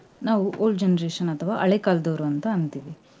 ನಾವು old generation ಅಥವಾ ಹಳೆ ಕಾಲದವ್ರು ಅಂತಾ ಅಂತೀವಿ .